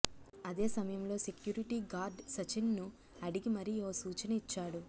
అదే సమయంలో security guard Sachin ను అడిగిమరి ఓ సూచన ఇచ్చాడు